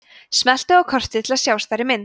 smelltu á kortið til að sjá stærri mynd